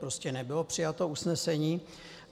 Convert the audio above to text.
Prostě nebylo přijato usnesení.